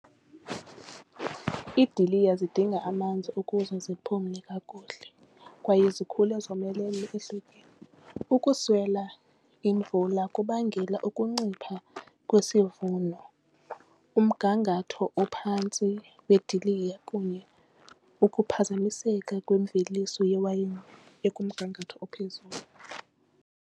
Iidiliya zidinga amanzi ukuze ziphume kakuhle kwaye zikhule zomelele ehlotyeni. Ukuswela imvula kubangela ukuncipha kwesivuno, umgangatho ophantsi weediliya kunye ukuphazamiseka kwimveliso yewayini ekumngangatho ophezulu.